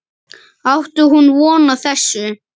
Átti hún von á þessu?